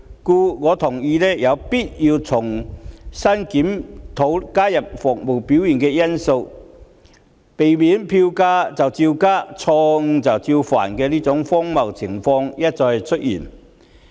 故此，我同意有必要重新檢討，加入服務表現的因素，避免票價照加、錯誤照犯的荒謬情況一再出現。